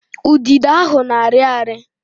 Udido ahụ na-arị ari